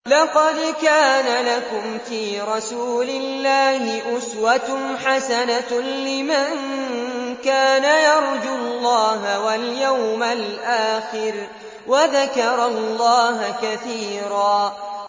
لَّقَدْ كَانَ لَكُمْ فِي رَسُولِ اللَّهِ أُسْوَةٌ حَسَنَةٌ لِّمَن كَانَ يَرْجُو اللَّهَ وَالْيَوْمَ الْآخِرَ وَذَكَرَ اللَّهَ كَثِيرًا